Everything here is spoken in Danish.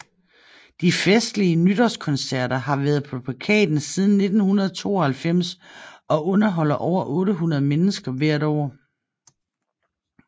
De festlige nytårskoncerter har været på plakaten siden 1992 og underholder over 800 mennesker hvert år